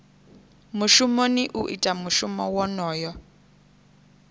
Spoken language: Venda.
mushumoni u ita mushumo wonoyo